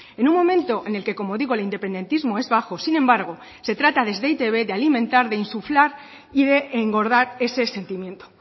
en un momento en el que como digo el independentismo es bajo sin embargo se trata desde e i te be de alimentar de insuflar y de engordar ese sentimiento